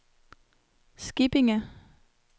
Skippinge